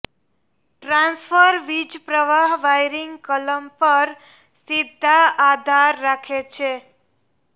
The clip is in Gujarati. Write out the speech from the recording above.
ટ્રાન્સફર વીજપ્રવાહ વાયરિંગ કલમ પર સીધા આધાર રાખે છે